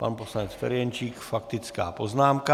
Pan poslanec Ferjenčík - faktická poznámka.